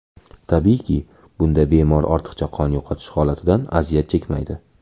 Tabiiyki, bunda bemor ortiqcha qon yo‘qotish holatidan aziyat chekmaydi.